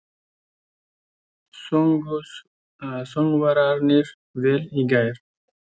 Sungu söngvararnir vel í gær?